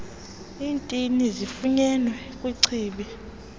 iintini zifunyenwe kwichibi